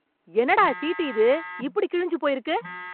என்னடா சீட்டு இது இப்படி கிழிஞ்சு போயிருக்கு